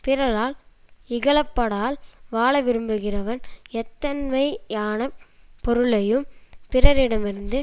பிறரால் இகழப்படால் வாழ விரும்புகிறவன் எத்தன்மையானப் பொருளையும் பிறரிடமிருந்து